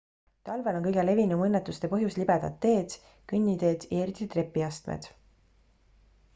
talvel on kõige levinum õnnetuste põhjus libedad teed kõnniteed ja eriti trepiastmed